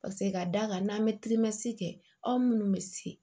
Paseke ka d'a kan n'an bɛ kɛ aw minnu bɛ se